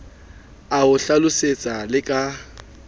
a ho hlalosetse le ka